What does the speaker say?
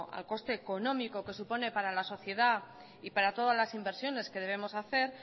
al coste económico que supone para la sociedad y para todas las inversiones que debemos hacer